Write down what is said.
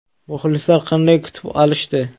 Muxlislar qanday kutib olishdi?